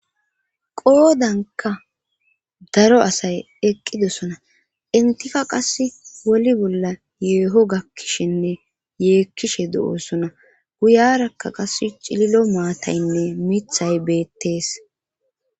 qoodanka daro asay eqqidosona intika qas woli bolla yeeho gakkishinne yeekkishe do7oosona guyarakka qas cililo maataynne mithay beettees